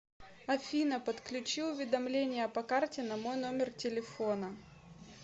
афина подключи уведомления по карте на мой номер телефона